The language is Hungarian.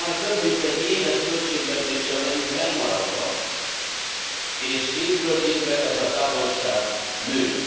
Ma már több mint egy éves költségvetéssel vagyunk elmaradva, és évről évre ez a távolság nő.